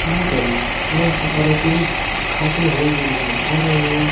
यह पर ही बहुत सारे पुरुष खाते हुए भी नजर आ रहे हैं।